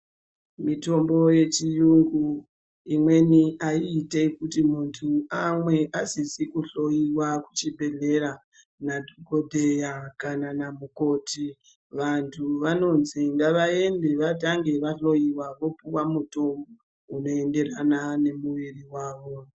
Mitombo yechiyungu imweni aiiti kuti munhu amwe asisizi kushloiwa kuchibhedhleya nadhokodheya kana namukoti vanhu vanonzi ngavaende vatange vahloiwa vopuwa mutombo unoenderana nemuviri wavo.